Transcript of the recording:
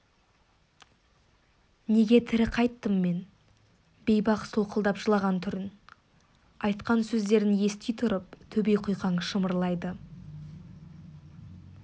неге тірі қайттым мен бейбақ солқылдап жылаған түрін айтқан сөздерін ести тұрып төбе құйқаң шымырлайды